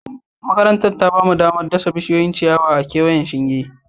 Makarantar ta ba mu damar dasa bishiyoyin ciyayi a kewayen shingen